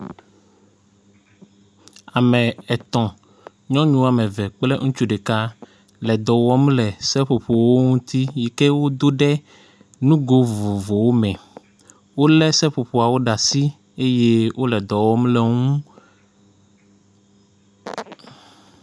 ame etɔ̃ nyɔnu ɔmeve kple ŋutsu ɖeka le dɔwɔm le seƒoƒowo ŋtsi sike wó dó ɖe ŋugó vovovowo me wóle seƒoƒoawo ɖe asi eye wóle dɔwɔm le woŋu